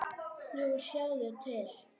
Jú, sjáðu til.